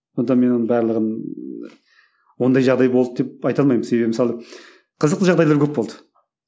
сондықтан мен оның барлығын ондай жағдай болды деп айта алмаймын себебі мысалы қызықты жағдайлар көп болды